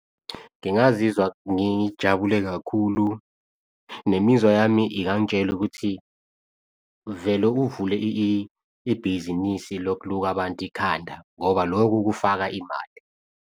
Ngingazizwa ngijabule kakhulu nemizwa yami ingangitshela ukuthi vele uvule ibhizinisi lokuluka abantu ikhanda ngoba lokhu kufaka imali.